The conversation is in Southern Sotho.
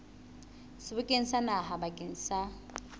sebokeng sa naha bakeng sa